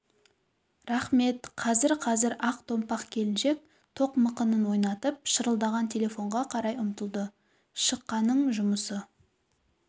рақмет қазір-қазір ақ томпақ келіншек тоқ мықынын ойнатып шырылдаған телефонға қарай ұмтылды шықаңның жұмысы